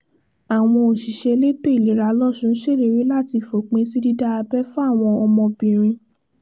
àwọn òṣìṣẹ́ elétò ìlera losùn ṣèlérí láti fòpin sí dídá abẹ́ fáwọn ọmọbìnrin